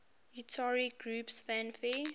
utari groups fanfare